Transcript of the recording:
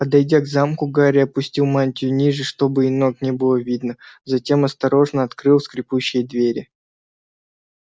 подойдя к замку гарри опустил мантию ниже чтобы и ног не было видно затем осторожно открыл скрипучие двери